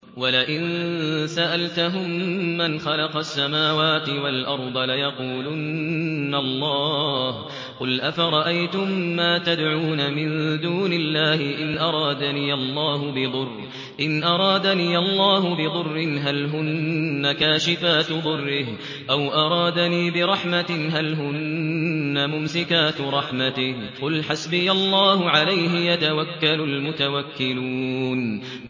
وَلَئِن سَأَلْتَهُم مَّنْ خَلَقَ السَّمَاوَاتِ وَالْأَرْضَ لَيَقُولُنَّ اللَّهُ ۚ قُلْ أَفَرَأَيْتُم مَّا تَدْعُونَ مِن دُونِ اللَّهِ إِنْ أَرَادَنِيَ اللَّهُ بِضُرٍّ هَلْ هُنَّ كَاشِفَاتُ ضُرِّهِ أَوْ أَرَادَنِي بِرَحْمَةٍ هَلْ هُنَّ مُمْسِكَاتُ رَحْمَتِهِ ۚ قُلْ حَسْبِيَ اللَّهُ ۖ عَلَيْهِ يَتَوَكَّلُ الْمُتَوَكِّلُونَ